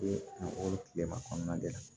O tilema kɔnɔna de la